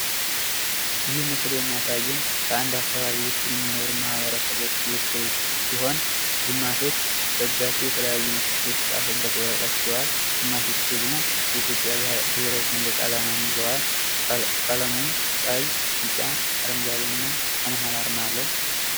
ይህ ምስል የሚያሳየን በአንድ አካባቢ የሚኖሩ የሰዎች ስብስብ ሲሆን ግማሾች በእጃቸው የተለያዩ የተጻፈበት ወረቀት ይዘዋል። ግማሾች ደግሞ የኢትዮጵያን ብሄራዊ ሰንደቅ አላማ ይዘዋል። ቀለሙም ቀይ፣ ቢጫ እና አረንጓዴ እና ከመሃል አርማ አለው።